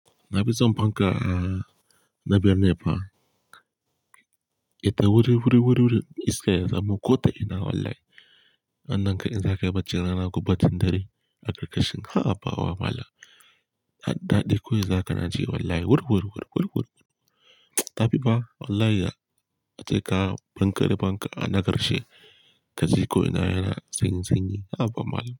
Na fi son fanka a, na birni fa. Ita wuri, wuri, wuri, wurin Iska ya zamo ƙota ina wallahi. Wannan kai in za ka yi bacci rana ko baccin dare, aka ƙarƙashin. A a ba wa mala. Hadda ɗaɗi ful za ka naji wallahi wuri, wuri-wuri wuri-wuri. Tafi ba wallahi a ce ka fankarɓe fanka a na ƙarshe. Kaji ko ina yana sanyi-sanyi. Haba malam.